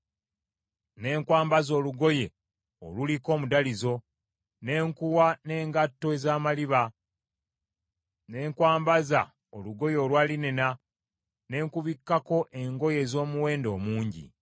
Ne nkwambaza olugoye oluliko omudalizo, ne nkuwa n’engatto ez’amaliba; ne nkwambaza olugoye olwa linena ne nkubikkako engoye ez’omuwendo omungi.